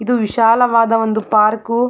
ಇದು ವಿಶಾಲವಾದ ಒಂದು ಪಾರ್ಕ್ .